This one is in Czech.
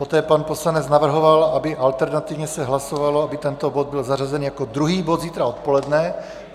Poté pan poslanec navrhoval, aby alternativně se hlasovalo, aby tento bod byl zařazen jako druhý bod zítra odpoledne.